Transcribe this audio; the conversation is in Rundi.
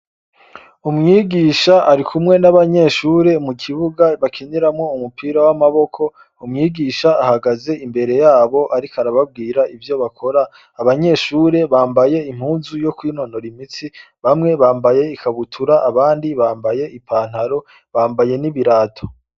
Umwigisha arikumwe n’abanyeshure mu kibuga bakiniramwo umupira w’amaboko, umwigisha ahagaze imbere yabo ariko arababwira ivyo bakora, abanyeshure bambaye impuzu yo kwinonora imitsi bamwe bambaye ikabutura abandi bambaye i pantaro, bambaye n’ibirato.